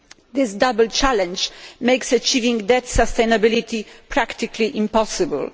This double challenge makes achieving debt sustainability practically impossible.